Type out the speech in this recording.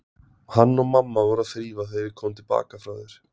Hann og mamma voru að þrífa þegar ég kom til baka frá þér.